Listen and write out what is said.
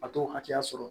A t'o hakɛya sɔrɔ